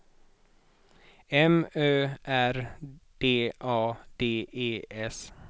M Ö R D A D E S